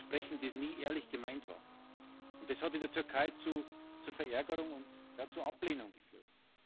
Es ist ein Versprechen, das nie ehrlich gemeint war. Und das hat in der Türkei zu Verärgerung und zu Ablehnung geführt.